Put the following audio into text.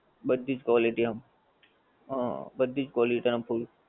બધી જ quality આમ હં બધી જ quality આમ હોય.